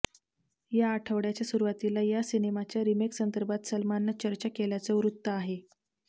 या आठवड्याच्या सुरुवातीला या सिनेमाच्या रिमेकसंदर्भात सलमाननं चर्चा केल्याचं वृत्त आहे